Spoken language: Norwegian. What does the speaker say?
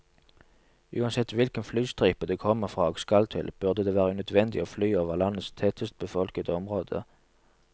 Uansett hvilken flystripe det kommer fra og skal til, burde det være unødvendig å fly over landets tettest befolkede område.